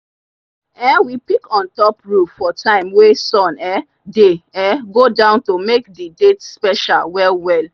um we pick on top roof for time wey sun um dey um go down to make d date special well well.